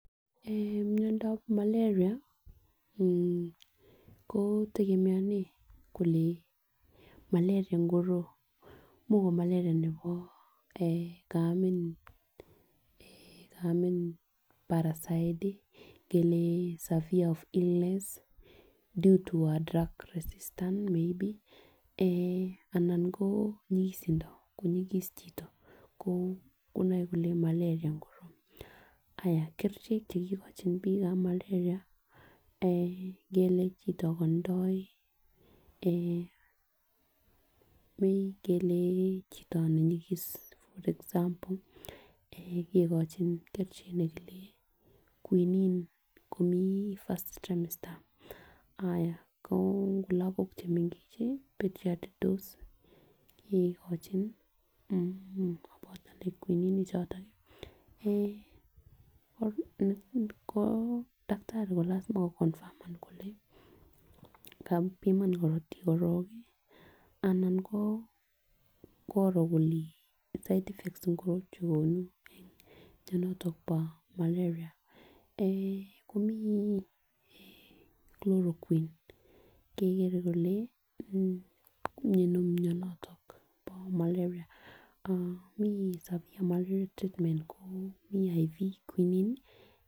Eeh miondap maleria aah ko tegemeanen kole maleria ngoro imuch ko maleria nebo eeh kaamin parasite ii, kelee sever illness, dudu wa drug resistant may be, anan ko nyikisindo konyikis chito koo konoe kole maleria ngiroo, ayaa kerichek chekikochin biikab maleria kelee kitokondoi imuch kele chito ne nyikis for example eeh kikochin kerichek chekile quinine komi first tremister koo lagok chemengechen kikochin pitiat dose kikochin aah kobote quinine ichoton ii, akoo daktari ko lasima koconfirmen kole kakobima korotik korong anan koo koroo kole side effects komuche kouni en mianotok bo maleria eeh komii eeh chloroquine kekere kole miano mianoto bo maleria aah mi sub-maleria treatment koo vip quinine.